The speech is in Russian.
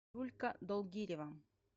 юлька долгирева